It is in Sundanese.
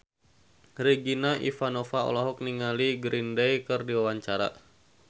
Regina Ivanova olohok ningali Green Day keur diwawancara